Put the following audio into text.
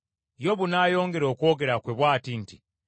Yobu n’ayongera okwogera kwe bw’ati nti,